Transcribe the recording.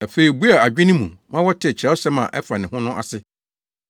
Afei obuee wɔn adwene mu ma wɔtee Kyerɛwsɛm a ɛfa ne ho no ase.